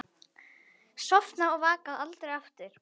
Sofna og vakna aldrei aftur.